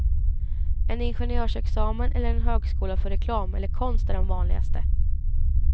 En ingenjörsexamen eller en högskola för reklam eller konst är de vanligaste.